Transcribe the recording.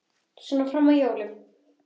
Svona fram að jólum.